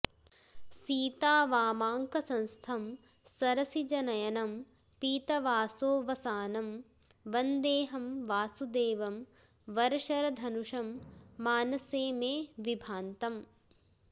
सीतावामाङ्कसंस्थं सरसिजनयनं पीतवासो वसानं वन्देऽहं वासुदेवं वरशरधनुषं मानसे मे विभान्तम्